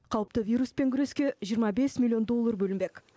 қауіпті вируспен күреске жиырма бес миллион доллар бөлінбек